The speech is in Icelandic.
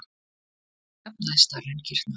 Tarfar eru að jafnaði stærri en kýrnar.